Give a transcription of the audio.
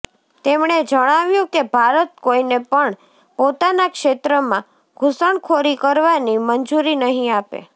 તેમણે જણાવ્યું કે ભારત કોઈને પણ પોતાના ક્ષેત્રમાં ઘૂસણખોરી કરવાની મંજૂરી નહીં આપે